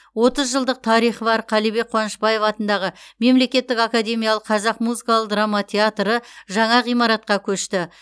отыз жылдық тарихы бар қалібек қуанышбаев атындағы мемлекеттік академиялық қазақ музыкалық драма театры жаңа ғимаратқа көшті